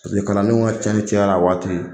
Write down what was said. kalandenw ka tiɲɛni cayara a waati